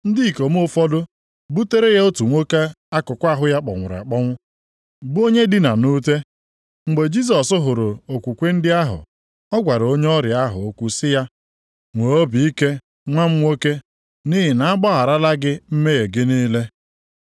Ndị ikom ụfọdụ butere ya otu nwoke akụkụ ahụ ya kpọnwụrụ akpọnwụ, bụ onye dina nʼute. Mgbe Jisọs hụrụ okwukwe ndị ahụ, ọ gwara onye ọrịa ahụ okwu sị ya, “Nwee obi ike nwa m nwoke nʼihi na a gbagharala gị mmehie gị niile.”